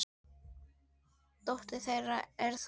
Dóttir þeirra er Þóra.